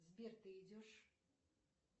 сбер ты идешь